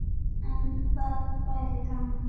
En það væri gaman.